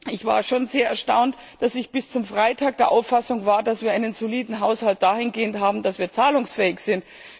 Ich war schon sehr erstaunt, dass ich bis zum Freitag der Auffassung war, dass wir einen soliden Haushalt dahingehend haben, dass wir zahlungsfähig sind.